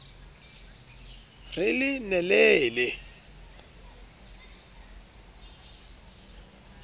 re le ne le le